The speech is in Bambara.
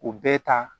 U bɛɛ ta